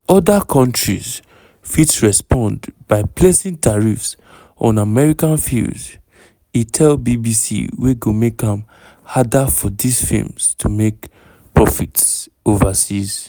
oda countries fit respond by placing tariffs on american films e tell bbc wey go make am "harder for dis films to make profits overseas".